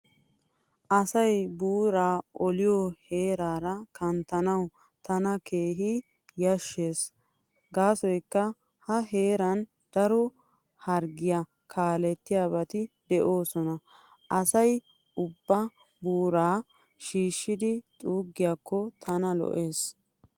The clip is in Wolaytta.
Asay buuraa oliyo heerara kanttanawu tana keehi yashshees gaasoykka a heeran daro harggiyaa kaalettiyaabati de'oosona. Asay ubbay buuraa shishshidi xuuggiyaakko tana lo'ees.